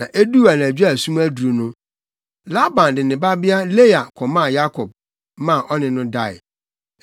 Na eduu anadwo a sum aduru no, Laban de ne babea Lea kɔmaa Yakob, maa ɔne no dae.